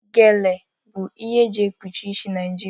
Gele bụ ihe e ji ekpuchi isi Naịjirịa.